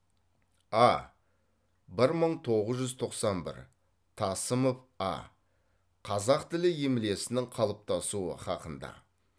а бір мың тоғыз жүз тоқсан бір тасымов а қазақ тілі емлесінің қалыптасуы хақында